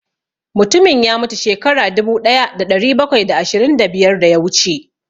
Mutumin ya mutu shekaru dubu ɗaya da ɗari bakwai da ashirin da biyar da ya wuce